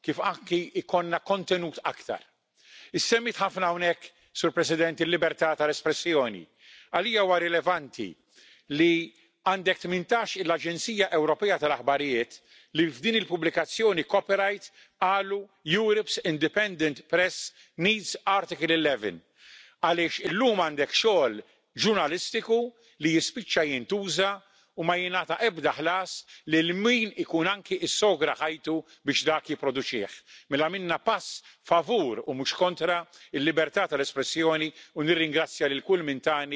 Tego samego dnia, dzisiaj, głosujemy przeciwko Węgrom, argumentując, że tam jest jakaś cenzura mediów, i równocześnie część z tych osób głosuje za cenzurą dla wszystkich obywateli Europy i to taką sto razy większą, taką, której nie było. Ja rozumiem, że, przeciętnie, ludzie nie zrozumieli tej dyrektywy. Ona została specjalnie takim językiem napisana, żeby jej nie zrozumieli. Ale posłowie mieli obowiązek ją zrozumieć i dlatego tak jak mówię nie wiem, z jakiego powodu głosowali,